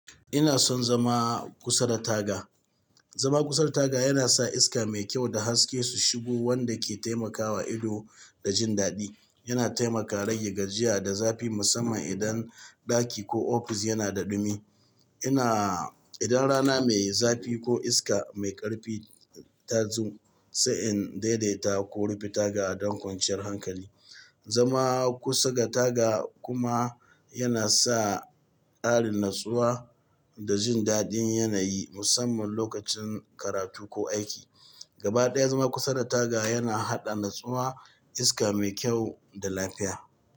Ina son zama kusa da taga. Zama kusa da taga yana sa iska mai kyau da haske su shigo wanda ke taimakawa ido da jin daɗi. Yana taimaka rage gajiya da zafi musamman idan ɗaki ko ofis yana da ɗumi. Ina idan rana mai zafi ko iska mai ƙarfi ta zo sai in daidaita ko rufe taga don kwanciyar hankali. Zama kusa ga taga kuma yana sa ƙarin natsuwa da jin daɗin yanayi musamman lokacin karatu ko aiki. Gaba ɗaya zama kusa da taga yana haɗa natsuwa, iska mai kyau da lafiya.